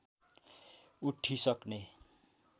उठिसक्ने